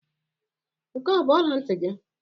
Nke a ọ bụ ọla ntị gị?